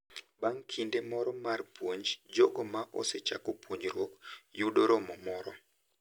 Bang’ kinde moro mar puonj, jogo ma osechako puonjruok yudo romo moro.